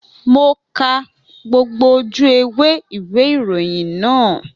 Mo ka gbogbo ojú ewé ìwé ìròyìn náà